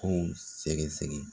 Kow sɛgɛ sɛgɛ.